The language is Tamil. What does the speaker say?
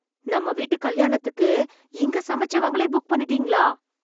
நம்ம வீட்டு கல்யாணத்துக்கு, இங்க சமைச்சவங்களயே புக் பண்ணிட்டீங்களா...